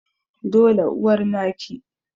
dole uwar naki